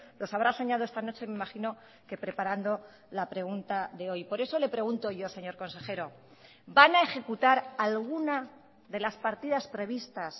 los habrá soñado esta noche imagino que preparando la pregunta de hoy por eso le pregunto yo señor consejero van a ejecutar alguna de las partidas previstas